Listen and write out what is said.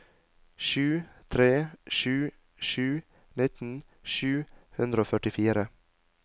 sju tre sju sju nitten sju hundre og førtifire